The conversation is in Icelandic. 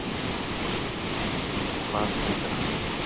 En fyrir hvað stendur hann?